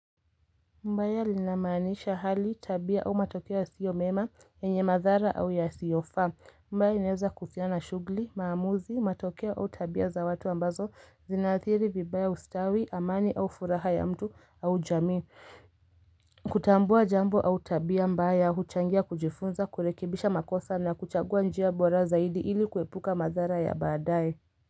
Mbaya lina maanisha hali tabia au matokeo ya siyo mema yenye madhara au ya siyo faa. Mbaya inaeza kuhusiana shughuli, maamuzi, matokeo au tabia za watu ambazo zinaathiri, vibaya ustawi, amani au furaha ya mtu au jamii. Kutambua jambo au tabia mbaya, huchangia kujifunza, kurekibisha makosa na kuchagua njia bora zaidi ili kuepuka madhara ya baadaye.